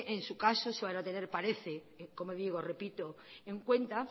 en su caso se van a tener parece como digo repito en cuenta